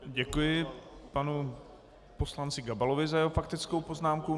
Děkuji panu poslanci Gabalovi za jeho faktickou poznámku.